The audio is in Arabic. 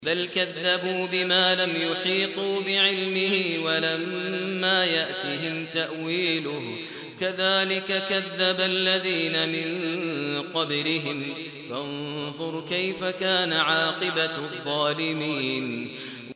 بَلْ كَذَّبُوا بِمَا لَمْ يُحِيطُوا بِعِلْمِهِ وَلَمَّا يَأْتِهِمْ تَأْوِيلُهُ ۚ كَذَٰلِكَ كَذَّبَ الَّذِينَ مِن قَبْلِهِمْ ۖ فَانظُرْ كَيْفَ كَانَ عَاقِبَةُ الظَّالِمِينَ